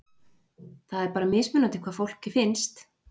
Það er bara mismunandi hvað fólki finnst?